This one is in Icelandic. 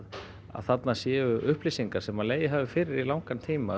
þarna séu upplýsingar sem legið hafi fyrir í langan tíma